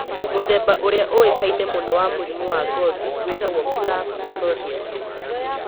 Mũthemba ũrĩa uĩkaine mũno wa mũrimũ wa ngothi wĩtagwo plaque psoriasis.